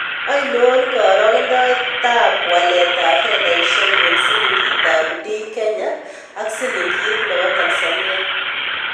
Ainon karogendoetap waletap fedaisiek eng' silingiitap DKenya ak silingiit ne po Tanzania